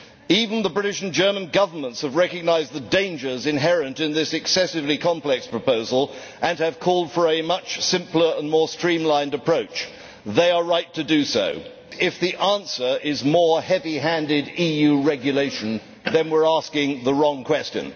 Even the British and German Governments have recognised the dangers inherent in this excessively complex proposal and have called for a much simpler and more streamlined approach. They are right to do so. If the answer is more heavy handed EU regulation, then we are asking the wrong question.